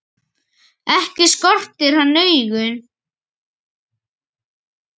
Ekki skortir hann augun.